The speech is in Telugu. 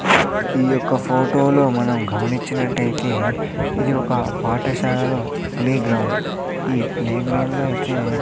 ఈ యొక్క ఫోటోలో మనం గమనించినట్లయితే ఇది ఒక పాఠశాలలో ప్లే గ్రౌండ్ ఈ ప్లే గ్రౌండ్ లో అయితే--